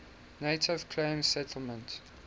native claims settlement